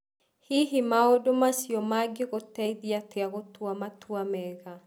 Hihi maũndũ macio mangĩgũteithia atĩa gũtua matua mega?